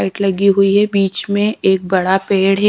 Bike लगी हुई है बीच में एक बड़ा पेड़ है।